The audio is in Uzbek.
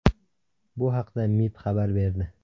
Bu haqda MIB xabar berdi.